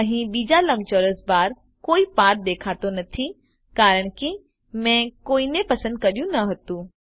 અહી બીજા લંબચોરસ બાર પર કોઈ પાથ દેખાતો નથી કારણ કે મેં કોઈને પસંદ કર્યું ન હતું